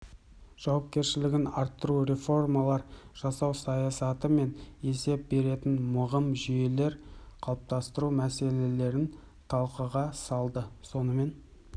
жауапкершілігін арттыру реформалар жасау саясаты мен есеп беретін мығым жүйелер қалыптастыру мәселелерін талқыға салды сонымен